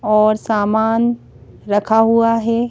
और सामान रखा हुआ है।